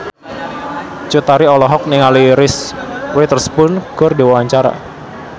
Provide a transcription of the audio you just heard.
Cut Tari olohok ningali Reese Witherspoon keur diwawancara